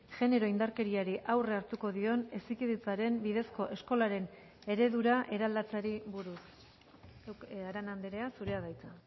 genero indarkeriari aurre hartuko dion hezkidetzaren bidezko eskolaren eredura eraldatzeari buruz arana andrea zurea da hitza